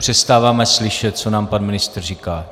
Přestáváme slyšet, co nám pan ministr říká.